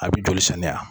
A bɛ joli sɛnɛ yan